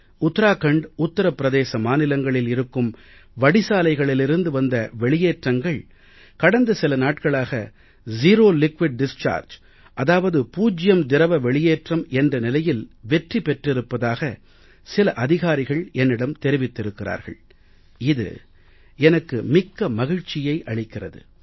உத்தராகண்ட் உத்திர பிரதேச மாநிலங்களில் இருக்கும் வடிசாலைகளிலிருந்து வந்த வெளியேற்றங்கள் கடந்த சில நாட்களாக செரோ லிக்விட் டிஸ்சார்ஜ் அதாவது பூஜ்யம் திரவ வெளியேற்றம் என்ற நிலையில் வெற்றி பெற்றிருப்பதாக சில அதிகாரிகள் என்னிடம் தெரிவித்திருக்கிறார்கள் இது எனக்கு மிக்க மகிழ்ச்சியை அளிக்கிறது